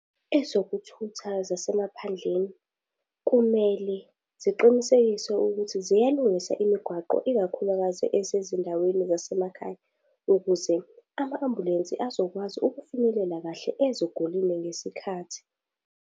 Ezokuthutha zasemaphandleni kumele ziqinisekise ukuthi ziyalungisa imigwaqo ikakhulukazi esezindaweni zasemakhaya, ukuze ama-ambulensi azokwazi ukufinyelela kahle ezigulini ngesikhathi.